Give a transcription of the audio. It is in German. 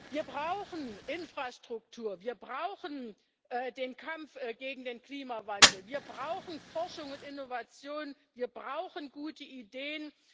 Wir brauchen Infrastruktur, wir brauchen den Kampf gegen den Klimawandel, wir brauchen Forschung und Innovation, wir brauchen gute Ideen.